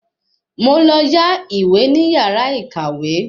Mo lọ yá ìwé ní yàrá ìkàwé